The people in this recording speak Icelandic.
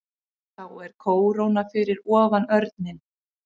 Þá er kóróna fyrir ofan örninn.